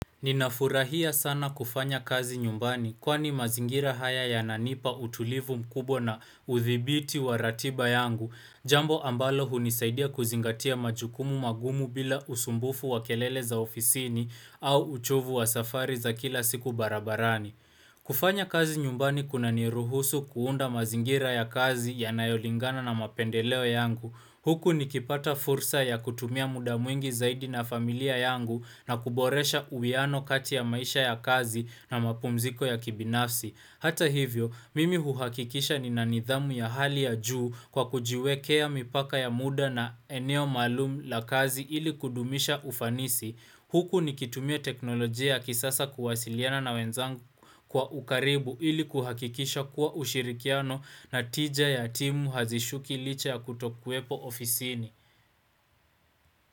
Ninafurahia sana kufanya kazi nyumbani, kwani mazingira haya yanipa utulivu mkubwa na udhibiti wa ratiba yangu. Jambo ambalo hunisaidia kuzingatia majukumu magumu bila usumbufu wa kelele za ofisini au uchovu wa safari za kila siku barabarani. Kufanya kazi nyumbani kuna ni ruhusu kuunda mazingira ya kazi yanayolingana na mapendeleo yangu. Huku nikipata fursa ya kutumia muda mwingi zaidi na familia yangu, na kuboresha uwiano kati ya maisha ya kazi na mapumziko ya kibinafsi. Hata hivyo, mimi huhakikisha ninanidhamu ya hali ya juu kwa kujiwekea mipaka ya muda na eneo maluum la kazi ili kudumisha ufanisi. Huku ni kitumia teknolojia kisasa kuwasiliana na wenzangu kwa ukaribu ili kuhakikisha kuwa ushirikiano na tija ya timu hazishuki licha ya kutokuepo ofisini.